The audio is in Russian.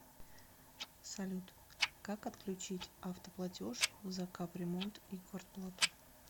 салют как отключить автоплатеж за капремонт и квартплату